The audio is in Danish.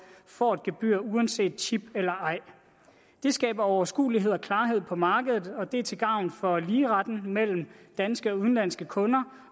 får et gebyr uanset chip eller ej det skaber overskuelighed og klarhed på markedet og det er til gavn for ligeretten mellem danske og udenlandske kunder